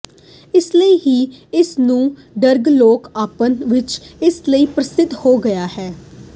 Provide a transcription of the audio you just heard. ਇਸ ਲਈ ਹੀ ਇਸ ਨੂੰ ਡਰੱਗ ਲੋਕ ਆਪਸ ਵਿੱਚ ਇਸ ਲਈ ਪ੍ਰਸਿੱਧ ਹੋ ਗਿਆ ਹੈ